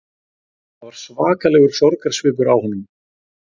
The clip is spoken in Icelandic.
Það var svakalegur sorgarsvipur á honum